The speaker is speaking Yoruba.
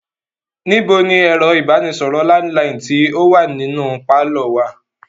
Níbo ni ẹ̀rọ ìbánisọ̀rọ̀ landiline tí o wá nínú pálọ̀ wa?